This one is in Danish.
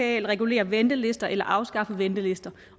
at regulere ventelister eller afskaffe ventelister